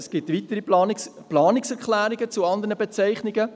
Es gibt weitere Planungserklärungen zu den anderen Bezeichnungen.